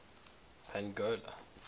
pongola